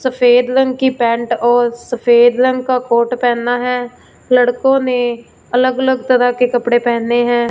सफेद रंग की पेंट और सफेद रंग का कोट पहेना है लड़कों ने अलग अलग तरह के कपड़े पहने हैं।